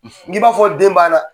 n k'i b'a fɔ den banna.